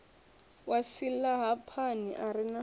wa silahapani a re na